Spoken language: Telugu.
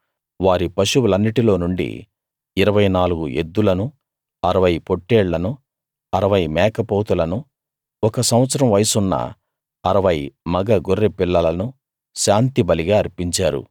వారి పశువులన్నిటిలో నుండి 24 ఎద్దులను 60 పొట్టేళ్లనూ 60 మేకపోతులను ఒక సంవత్సరం వయసున్న 60 మగ గొర్రె పిల్లలను శాంతిబలిగా అర్పించారు